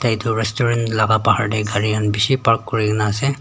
edu restaurant laka bahar tae gari khan bishi park kurikaenase.